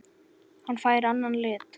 Hann fær annan lit.